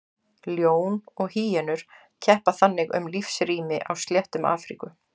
Ljón og hýenur keppa þannig um lífsrými á sléttum Afríku.